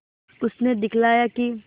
उसने दिखलाया कि